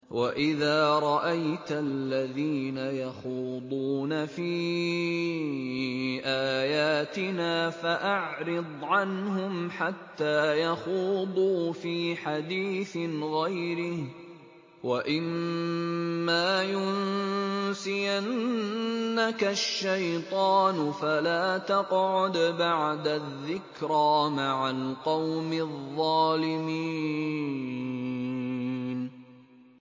وَإِذَا رَأَيْتَ الَّذِينَ يَخُوضُونَ فِي آيَاتِنَا فَأَعْرِضْ عَنْهُمْ حَتَّىٰ يَخُوضُوا فِي حَدِيثٍ غَيْرِهِ ۚ وَإِمَّا يُنسِيَنَّكَ الشَّيْطَانُ فَلَا تَقْعُدْ بَعْدَ الذِّكْرَىٰ مَعَ الْقَوْمِ الظَّالِمِينَ